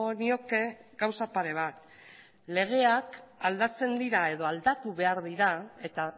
nioke gauza pare bat legeak aldatzen dira edo aldatu behar dira eta